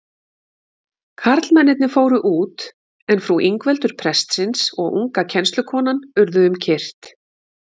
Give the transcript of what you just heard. Karlmennirnir fóru út, en frú Ingveldur prestsins og unga kennslukonan urðu um kyrrt.